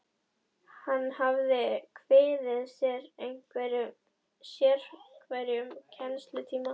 Hann hafði kviðið fyrir sérhverjum kennslutíma.